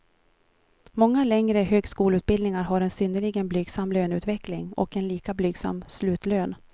Många längre högskoleutbildningar har en synnerligen blygsam löneutveckling och en lika blygsam slutlön.